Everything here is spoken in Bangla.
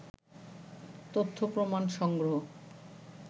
তথ্যপ্রমাণ সংগ্রহ